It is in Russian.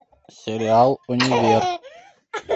сериал универ